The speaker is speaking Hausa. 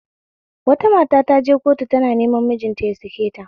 Wata mata taje kotu tana neman mijinta yasaketa